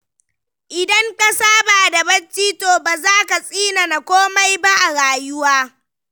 Idan ka saba da bacci to ba zaka tsinana komai ba a rayuwa.